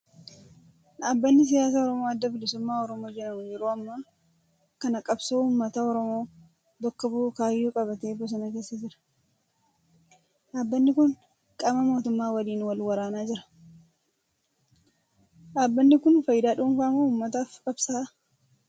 Dhaabni siyaasaa oromoo Adda bilisummaa Oromoo jedhamu yeroo ammaa kana qabsoo uummata oromoo bakka bu'u kaayyoo qabatee bosona keessa jira. Dhaabni kun qaama mootummaa waliin wal waraanaa jira. Dhaabbanni kun fayidaa dhuunfaa moo uummataaf qabsaa'aa?